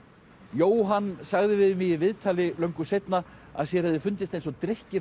Jóhann sagði við mig í viðtali löngu seinna að sér hefði fundist eins og drykkir